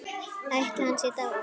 Ætli hann sé dáinn.